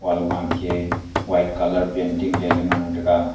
alu wan ke white colour painting ley ngan taiga.